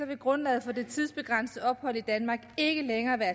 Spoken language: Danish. vil grundlaget for det tidsbegrænsede ophold i danmark ikke længere være